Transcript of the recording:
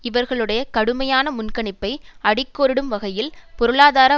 இவர்களுடைய கடுமையான முன்கணிப்பை அடிக்கோடிடும் வகையில் பொருளாதார